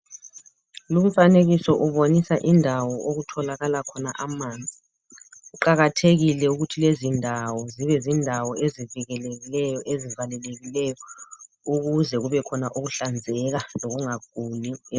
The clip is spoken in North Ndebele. Lumfanekiso ubonisa indawo okutholakala khona amanzi, kuqakathekile ukuthi lezindawo zibe zindawo ezivikelikeyo, lezivalelekileyo, ukuze kubekhona ukuhlanzeka lokungaguli.